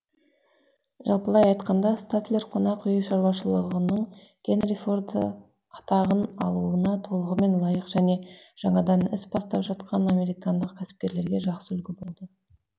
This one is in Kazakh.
жалпылай айтқанда статлер қонақ үй шаруашылығының генри форды атағын алуыға толығымен лайық және жаңадан іс бастап жатқан американдық кәсіпкерлерге жақсы үлгі болды